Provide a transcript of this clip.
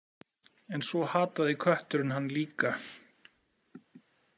En svo hataði kötturinn hann líka.